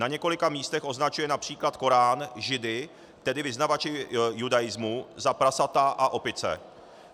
Na několika místech označuje například Korán židy, tedy vyznavače judaismu, za prasata a opice.